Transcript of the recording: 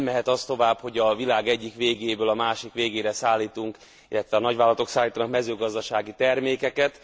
Nem mehet az tovább, hogy a világ egyik végéből a másik végére szállítunk, illetve a nagyvállalatok szállítanak mezőgazdasági termékeket.